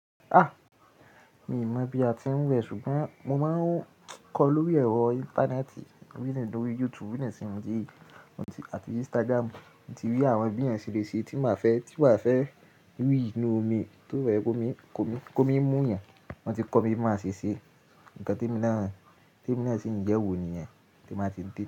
A! Mi ò mọ̀ bí a ti ń wẹ ṣùgbọ́n mo máa ń kọ lórí ẹ̀rọ íńtánẹ́ẹ̀tì, bí ní lórí YouTube bí ní sínú ti, àti Instagram. Mo ti rí àwọn bí ẹyan n ṣe lé ṣe tín bá fẹ́, tí na n fẹ́ rí inú omi, tó rẹ ko mi, ko mi, ko mi mú yẹn, wọn ti kọ mi bí mo máa ṣe ṣe, ǹkan tí e mi na, tí emi na ṣì ń yẹ́wò nìyẹn, tí n bá ti dé.